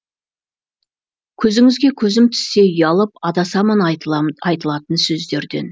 көзіңізге көзім түссе ұялып адасамын айтылатын сөздерден